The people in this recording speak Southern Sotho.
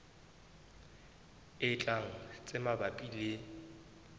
e tlang tse mabapi le